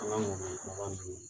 An ŋɔmi kumaba in dunni